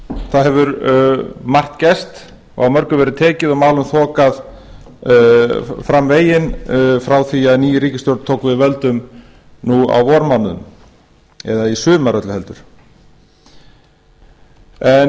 það hefur margt gerst og á mörgu verið tekið og málum þokað fram veginn frá því að ný ríkisstjórn tók við völdum nú á vormánuðum eða í sumar öllu heldur ég